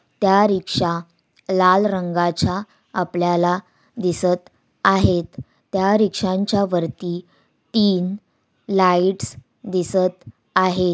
त्या रिक्षा लाल रंगाच्या आपल्याला दिसत आहेत त्या रिक्षांच्या वरती तीन लाईट्स दिसत आहे.